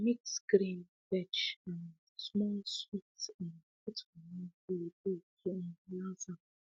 i mix grain veg and um small sweet um put for one bowl bowl to um balance am